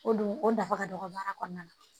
O dun o nafa ka dɔgɔ baara kɔnɔna na